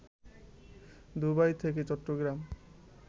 Dubai থেকে চট্টগ্রাম